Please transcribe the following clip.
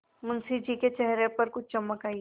मुंशी जी के चेहरे पर कुछ चमक आई